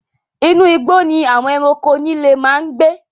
Inú igbó ni àwon ẹranko líle máa ń gbé